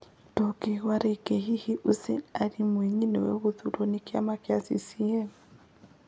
Ndũngĩigua rĩngĩ. Hihi Hussein Ali Mwinyi nĩwe kũthurwo nĩ kiama gĩa CCM?